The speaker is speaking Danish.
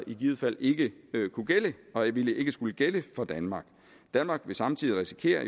i givet fald ikke kunne gælde og ville ikke skulle gælde for danmark danmark vil samtidig risikere